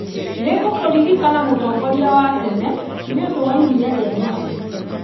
Nĩ ngũkũririkana mũtongoria wa tene nĩ ũndũ wa iria rĩa Nyayo.